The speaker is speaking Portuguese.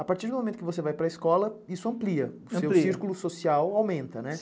A partir do momento que você vai para escola, isso amplia, o seu círculo social aumenta, né?